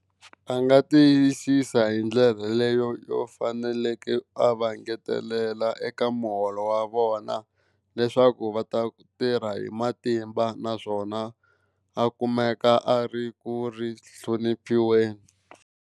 A nga tiyisisa hi ndlela yeleyo yo faneleke a va ngetelela eka muholo wa vona leswaku va ta tirha hi matimba, naswona a kumeka a ri ku ri hloniphiweni.